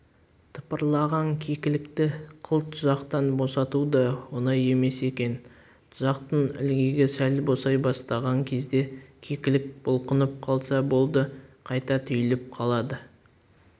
тыпырлаған кекілікті қыл тұзақтан босату да оңай емес екен тұзақтың ілгегі сәл босай бастаған кезде кекілік бұлқынып қалса болды қайта түйіліп қалады